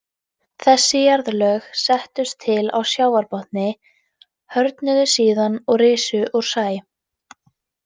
Þessi jarðlög settust til á sjávarbotni, hörðnuðu síðan og risu úr sæ.